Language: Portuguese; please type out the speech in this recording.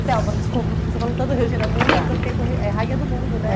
E, Delba, desculpa, você falou tanto do Regina Munch, que eu fiquei com re... É Rainha do Mundo, né? É